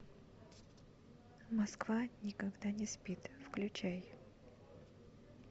москва никогда не спит включай